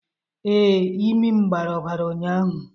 Ee, imi'm gbara obara ụnyahụ